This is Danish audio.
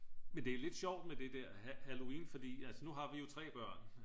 men det er lidt sjovt med det der halloween fordi altså nu har vi jo 3 børn